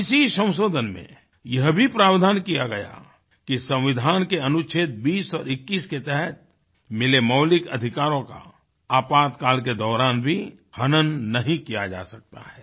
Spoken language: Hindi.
इसी संशोधन में यह भी प्रावधान किया गया कि संविधान के अनुछेद 20 और 21 के तहत मिले मौलिकअधिकारों का आपातकाल के दौरान भी हनन नहीं किया जा सकता है